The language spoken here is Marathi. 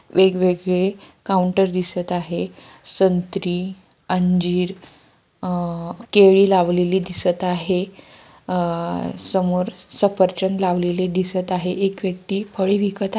वेगवेगळे काउंटर दिसत आहे संत्री अंजीर अ-केळी लावलेली दिसत आहे अ-समोर सफरचंद लावलेले दिसत आहे एक व्यक्ति फळी विकत--